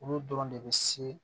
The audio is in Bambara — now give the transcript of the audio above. Olu dɔrɔn de bɛ se